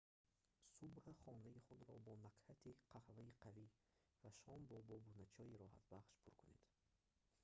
субҳ хонаи худро бо накҳати қаҳваи қавӣ ва шом бо бобуначойи роҳатбахш пур кунед